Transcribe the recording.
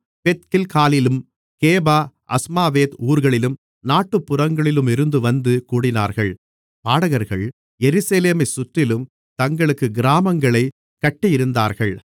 பெத்கில்காலிலும் Geba Azmaveth ஊர்களின் நாட்டுப்புறங்களிலுமிருந்து வந்து கூடினார்கள் பாடகர்கள் எருசலேமைச் சுற்றிலும் தங்களுக்குக் கிராமங்களைக் கட்டியிருந்தார்கள்